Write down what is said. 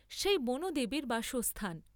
সেই বনদেবীর বাসস্থান।